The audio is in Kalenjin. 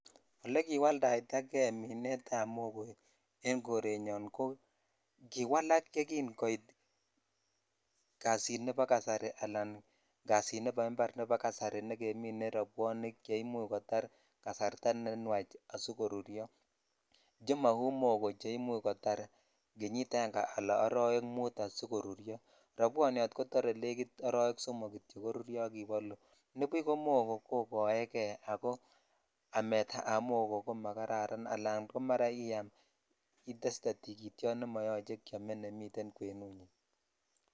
Ole kiwoldaidakei minet ab mogoo en korenyon kiwalak ye kin kot kasit nebo kasari ala kasit nebo impar nebo kasari negemine robwonik ne imuch kotar kasarta ne nwach asikoruryo che mou mogoo che imuch kotar kenyit aeng ala orowek mut asikoruryo robwonyot kotor arowe somok sikoruryo nibu ko mogoo kokoekei ak amet ab mogoo ko ma kararan mara iyam itestee tigityot nemoyoche keo.e nemiten kwenet.